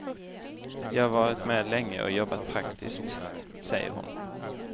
Jag har varit med länge och jobbat praktiskt, säger hon.